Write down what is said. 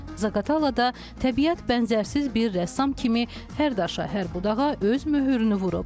Zaqatalada təbiət bənzərsiz bir rəssam kimi hər daşa, hər budağa öz möhürünü vurub.